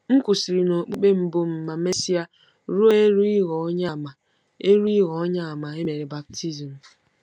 M kwụsịrị n’okpukpe mbụ m ma mesịa ruo eru ịghọ Onyeàmà eru ịghọ Onyeàmà e mere baptizim.